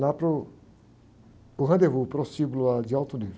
lá para o, para o rendezvous, prostíbulo lá, de alto nível.